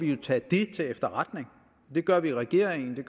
vi tage til efterretning det gør vi i regeringen og det